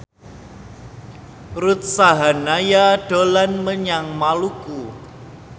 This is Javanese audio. Ruth Sahanaya dolan menyang Maluku